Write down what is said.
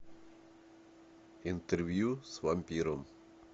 интервью с вампиром